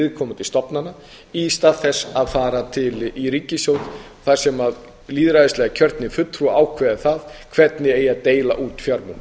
viðkomandi stofnana í stað þess að fara í ríkissjóð þar sem lýðræðislega kjörnir fulltrúar ákveða það hvernig eigi að deila út fjármunum